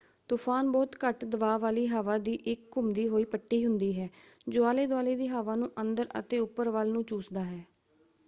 ਤੁਫ਼ਾਨ ਬਹੁਤ ਘੱਟ ਦਬਾਅ ਵਾਲੀ ਹਵਾ ਦੀ ਇੱਕ ਘੁੰਮਦੀ ਹੋਈ ਪੱਟੀ ਹੁੰਦੀ ਹੈ ਜੋ ਆਲੇ ਦੁਆਲੇ ਦੀ ਹਵਾ ਨੂੰ ਅੰਦਰ ਅਤੇ ਉੱਪਰ ਵੱਲ ਨੂੰ ਚੂਸਦਾ ਹੈ।